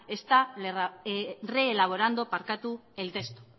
está reelaborando barkatu el texto